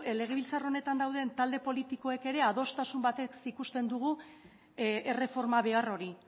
legebiltzar honetan dauden talde politikoek ere adostasun batez ikusten dugu erreforma behar hori